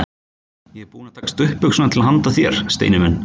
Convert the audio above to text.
Ég er búin að taka stuttbuxurnar til handa þér, Steini minn.